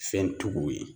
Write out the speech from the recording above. Fɛntigiw ye